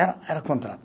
Era era contrato.